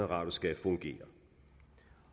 radio skal fungere